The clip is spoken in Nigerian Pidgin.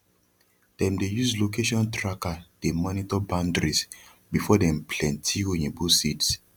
them dey use location tracker dey monitor boundaries before dem plenty oyibo seeds